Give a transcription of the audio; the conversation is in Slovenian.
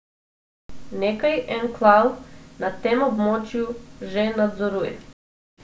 Nekaj enklav na tem območju že nadzoruje.